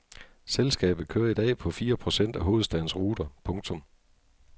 Selskabet kører i dag på fire procent af hovedstadens ruter. punktum